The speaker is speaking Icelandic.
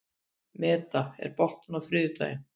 Meda, er bolti á þriðjudaginn?